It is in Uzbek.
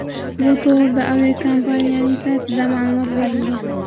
Bu to‘g‘rida aviakompaniyaning saytida ma’lumot berilgan .